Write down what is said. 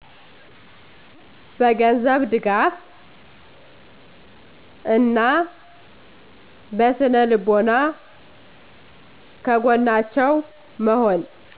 በ ገንዘብ ድጋፍ እና በ ስነልቦና ከገጎናቸው በመሆን